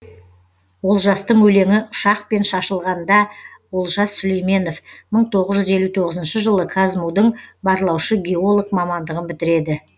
олжастың өлеңі ұшақпен шашылғандаолжас сүлейменов мың тоғыз жүз елу тоғызыншы жылы казму дың барлаушы геолог мамандығын бітіреді